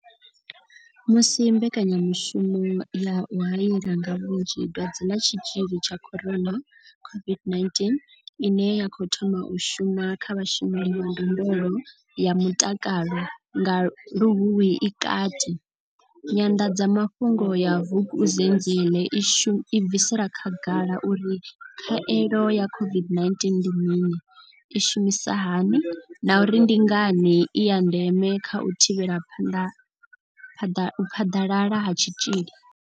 Musi mbekanyamushumo ya u haela nga vhunzhi dwadze ḽa tshitzhili tsha corona COVID-19 ine ya khou thoma u shuma kha vhashumeli vha ndondolo ya mutakalo nga Luhuhi i kati, nyanḓadzamafhungo ya Vukuzenzele i bvisela khagala uri khaelo ya COVID-19 ndi mini, i shumisa hani na uri ndi ngani i ya ndeme kha u thivhela u phaḓalala ha tshitzhili.